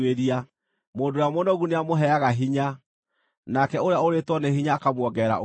Mũndũ ũrĩa mũnogu nĩamũheaga hinya, nake ũrĩa ũũrĩtwo nĩ hinya akamuongerera ũhoti.